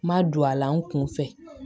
N ma don a la n kun fɛ